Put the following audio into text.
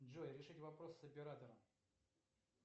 джой решить вопрос с оператором